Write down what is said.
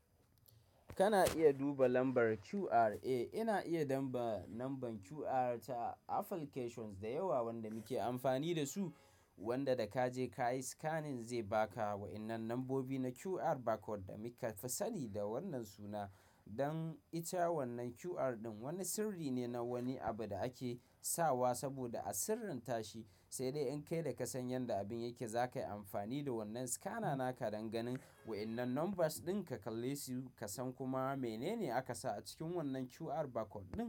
Kana iya duba lambar QR. Ina iya damba lambar QR ta applications da yawa wanda muke amfani da su wanda da kaje kayi scanning zai baka. Wa'innan lambobi na QR barcode da muka fasali da wannan suna. Don ita wannan QR ɗin wani sirri ne na wani abu da ake sawa saboda a sirrintashi sai dai in kai da ka san yanda abin yake zakayi amfani da wannan scanner naka dan ganin wa'innan numbers ɗin ka kalle su ka san kuma menene aka sa a cikin wannan QR barcode ɗin.